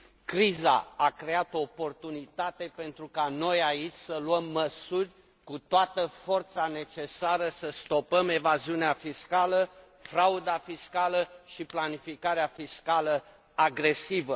Criza a creat o oportunitate pentru ca noi, aici, să luăm măsuri cu toată forța necesară ca să stopăm evaziunea fiscală, frauda fiscală și planificarea fiscală agresivă.